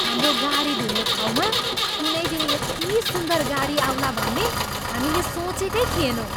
हाम्रो गाडी धुने ठाउँमा कुनै दिन यति सुन्दर गाडी आउला भन्ने हामीले सोचेकै थिएनौँ।